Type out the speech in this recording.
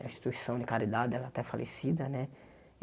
A instituição de caridade ela até falecida, né?